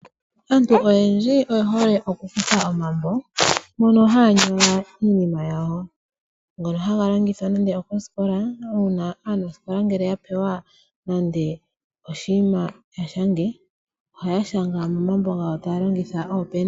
Aantu oyendji oye hole oku kutha omambo mono haya nyola iinima yawo, ngono haga longithwa nande okoskola una aanaskola ngele ya pewa nande oshinima shontumba yapumbwa oku shanga ohaya shanga momambo gawo taya longitha oopena.